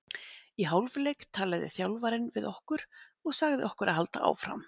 Í hálfleik talaði þjálfarinn við okkur og sagði okkur að halda áfram.